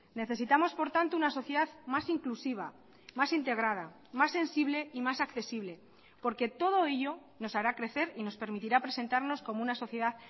necesitamos por tanto una sociedad más inclusiva más integrada más sensible y más accesible porque todo ello nos hará crecer y nos permitirá presentarnos como una sociedad